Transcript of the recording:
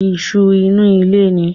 Isu inú ilé ni